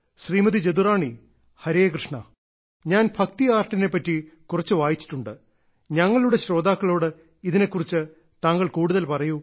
ശ്രീമതി ജദുറാണി ഹരേകൃഷ്ണാ ഞാൻ ഭക്തി ആർട്ടിനെ പറ്റി കുറച്ച് വായിച്ചിട്ടുണ്ട് ഞങ്ങളുടെ ശ്രോതാക്കളോട് ഇതിനെക്കുറിച്ച് താങ്കൾ കൂടുതൽ പറയൂ